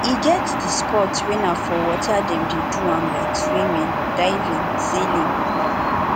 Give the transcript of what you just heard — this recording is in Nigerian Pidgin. e get di sport wey na for water dem de do am like swimming diving sailing etc